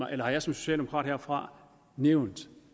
jeg som socialdemokrat herfra nævnt